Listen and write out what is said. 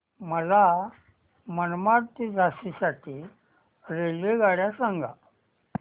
मला मनमाड ते झाशी साठी रेल्वेगाड्या सांगा